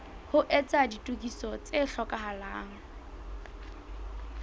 ho etsa ditokiso tse hlokahalang